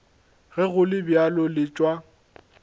ge go le bjalo letšwa